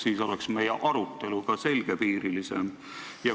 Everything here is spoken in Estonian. Siis oleks arutelu ka selgepiirilisem.